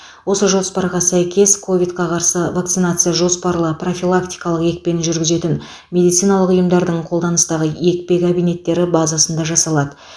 осы жоспарға сәйкес ковидқа қарсы вакцинация жоспарлы профилактикалық екпені жүргізетін медициналық ұйымдардың қолданыстағы екпе кабинеттері базасында жасалады